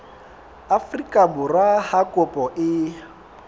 afrika borwa ha kopo e